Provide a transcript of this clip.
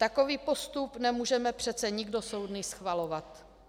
Takový postup nemůžeme přece nikdo soudný schvalovat.